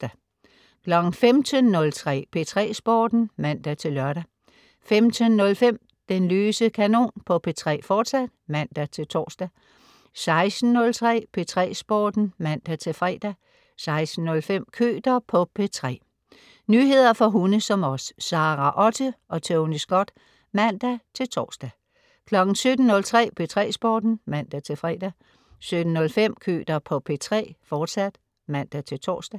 15.03 P3 Sporten (man-lør) 15.05 Den løse kanon på P3, fortsat (man-tors) 16.03 P3 Sporten (man-fre) 16.05 Køter på P3. Nyheder for hunde som os. Sara Otte og Tony Scott (man-tors) 17.03 P3 Sporten (man-fre) 17.05 Køter på P3, fortsat (man-tors)